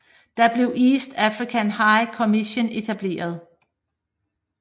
Da blev East African High Commission etableret